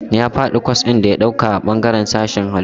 Ya faɗi kwas ɗin da ya ɗauka a bangaren sashen Hallitu..